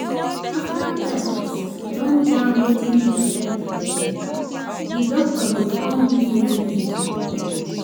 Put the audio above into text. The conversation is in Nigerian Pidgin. After tests don tell wetin dey affect di person, di doctor go come do wetin im suppose do